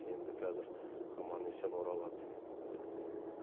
енді қазір аман есен оралады елге